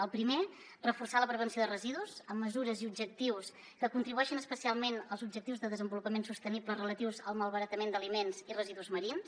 el primer reforçar la prevenció de residus amb mesures i objectius que contribueixin especialment als objectius de desenvolupament sostenible relatius al malbaratament d’aliments i residus marins